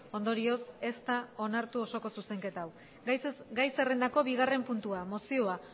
ondorioz ez da onartu osoko zuzenketa hau gai zerrendako bigarren puntua mozioa